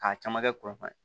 K'a caman kɛ kuran fana